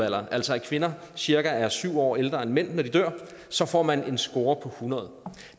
altså at kvinder cirka er syv år ældre end mænd når de dør så får man en score på hundrede